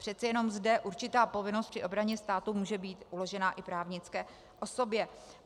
Přece jenom zde určitá povinnost při obraně státu může být uložena i právnické osobě.